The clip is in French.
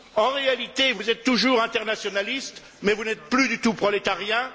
En réalité, vous êtes toujours internationalistes, mais vous n'êtes plus du tout prolétariens.